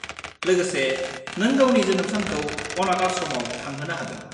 लोगोसे, नों गावनि जोनोम सानखौ अनाथ आश्रमआव थांहोनो हागोन।